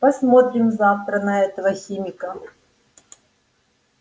посмотрим завтра на этого химика